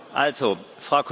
Frau Kollegin!